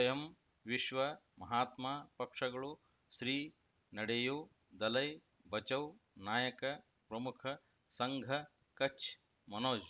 ಸ್ವಯಂ ವಿಶ್ವ ಮಹಾತ್ಮ ಪಕ್ಷಗಳು ಶ್ರೀ ನಡೆಯೂ ದಲೈ ಬಚೌ ನಾಯಕ ಪ್ರಮುಖ ಸಂಘ ಕಚ್ ಮನೋಜ್